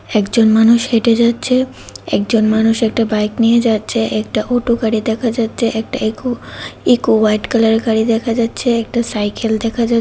একজন মানুষ হেঁটে যাচ্ছে একজন মানুষ একটা বাইক নিয়ে যাচ্ছে একটা অটো গাড়ি দেখা যাচ্ছে একটা একু ইকো হোয়াইট কালারের গাড়ি দেখা যাচ্ছে একটা সাইকেল দেখা যা--